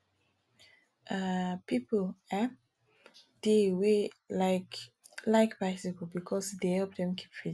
um pipo um dey wey like like bicycle because e dey help them keep fit